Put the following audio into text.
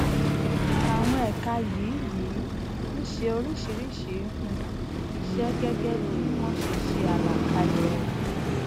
àwọn ẹka yìí yìí ń ṣe oríṣiríṣi um iṣẹ gẹgẹ bí wón ṣeṣe àlàkalẹ rẹ